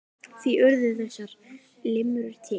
Því urðu þessar limrur til.